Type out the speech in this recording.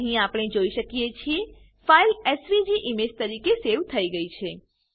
અહી આપણે જોઈ શકીએ છીએ ફાઈલ એસવીજી ઈમેજ તરીકે સેવ થયી છે